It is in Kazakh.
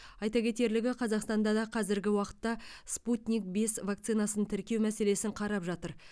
айта кетерлігі қазақстан да қазіргі уақытта спутник бес вакцинасын тіркеу мәселесін қарап жатыр